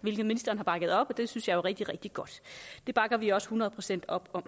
hvilket ministeren har bakket op det synes jeg jo er rigtig rigtig godt det bakker vi også hundrede procent op om